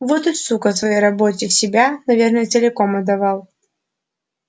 вот и сука своей работе себя наверное целиком отдавал